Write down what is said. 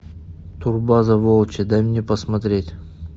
турбаза волчья дай мне посмотреть